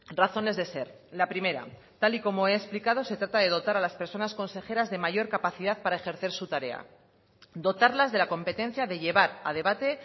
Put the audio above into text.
razones de ser la primera tal y como he explicado se trata de dotar a las personas consejeras de mayor capacidad para ejercer su tarea dotarlas de la competencia de llevar a debate